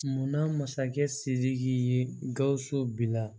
Munna masakɛ sidiki ye gawusu bila